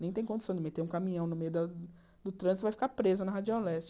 Nem tem condição de meter um caminhão no meio da do trânsito, vai ficar preso na Radial leste.